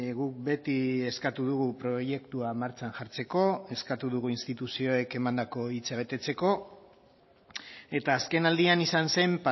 guk beti eskatu dugu proiektua martxan jartzeko eskatu dugu instituzioek emandako hitza betetzeko eta azkenaldian izan zen